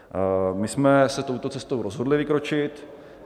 My jsme se touto cestou rozhodli vykročit.